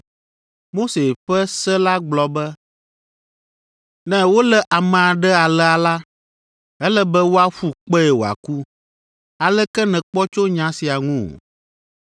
Mose ƒe se la gblɔ be, ne wolé ame aɖe alea la, ele be woaƒu kpee wòaku. Aleke nèkpɔ tso nya sia ŋu?”